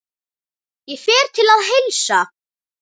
Ég fer til að heilsa.